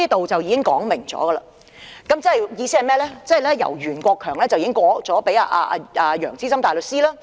"這便已說明了袁國強已把案件交給楊資深大律師處理。